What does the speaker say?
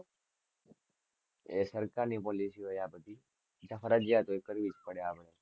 એ સરકાર ની policy હોય આ બધી ફરજીયાત હોય કરવી જ પડે આપડે.